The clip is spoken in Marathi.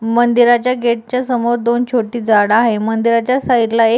मंदिराच्या गेटच्या समोर दोन छोटी झाड आहे मंदिराच्या साइड ला एक --